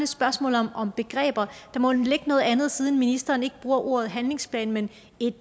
spørgsmål om begreber der må ligge noget andet siden ministeren ikke bruger ordet handlingsplan men